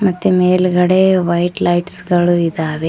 ಮತ್ತೆ ಮೇಲ್ಗಡೆ white lights ಗಳು ಇದಾವೆ.